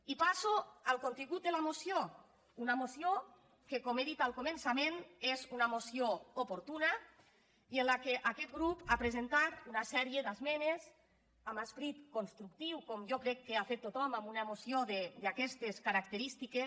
i passo al contingut de la moció una moció que com he dit al començament és una moció oportuna i en la qual aquest grup ha presentat una sèrie d’esmenes amb esperit constructiu com jo crec que ha fet tothom amb una moció d’aquestes característiques